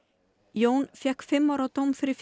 Jón Jacobsen fékk fimm ára dóm fyrir